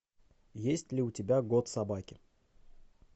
есть ли у тебя год собаки